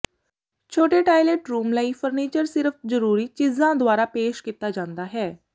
ਛੋਟੇ toilet room ਲਈ furniture ਸਿਰਫ ਜਰੂਰੀ ਚੀਜ਼ਾਂ ਦੁਆਰਾ ਪੇਸ਼ ਕੀਤਾ ਜਾਂਦਾ ਹੈ